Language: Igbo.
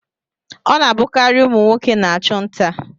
Ọ na-abụkarị ụmụ nwoke na-achụ nta.